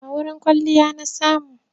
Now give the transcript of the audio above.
A wurin kwalliya na samu.